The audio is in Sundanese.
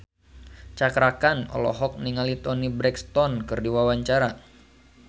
Cakra Khan olohok ningali Toni Brexton keur diwawancara